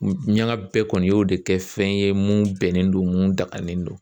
Ɲaga bɛɛ kɔni y'o de kɛ fɛn ye mun bɛnnen don mun daganen do.